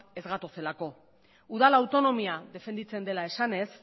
ez gatozelako udal autonomia defenditzen dela esanez